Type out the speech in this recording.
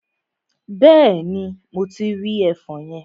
Bẹ́ẹ̀ni, mo ti rí ẹfọn yẹn.